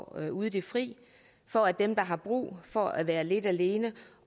ude i det fri for at dem der har brug for at være lidt alene